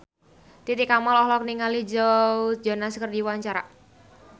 Titi Kamal olohok ningali Joe Jonas keur diwawancara